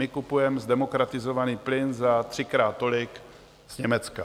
My kupujeme zdemokratizovaný plyn za třikrát tolik z Německa.